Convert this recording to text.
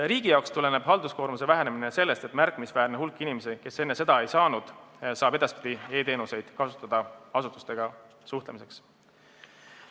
Riigi jaoks tuleneb halduskoormuse vähenemine sellest, et märkimisväärne hulk inimesi, kes seda enne teha ei saanud, saab edaspidi asutustega suhtlemiseks kasutada e-teenuseid.